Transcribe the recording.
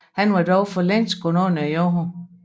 Han var dog for længst gået under jorden